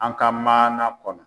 An ka maana kɔnɔ.